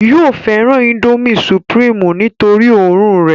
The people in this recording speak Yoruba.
yóò fẹ́ràn índómì sùpìrímù nítorí òórùn rẹ̀